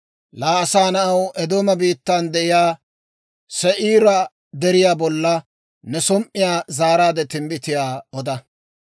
«Laa asaa na'aw, Eedooma biittan de'iyaa Se'iira deriyaa bolla ne som"iyaa zaaraade timbbitiyaa oda.